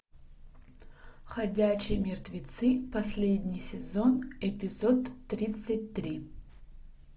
ходячие мертвецы последний сезон эпизод тридцать три